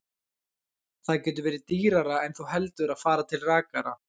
Það getur verið dýrara en þú heldur að fara til rakara.